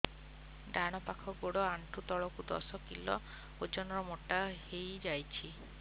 ଡାହାଣ ପାଖ ଗୋଡ଼ ଆଣ୍ଠୁ ତଳକୁ ଦଶ କିଲ ଓଜନ ର ମୋଟା ହେଇଯାଇଛି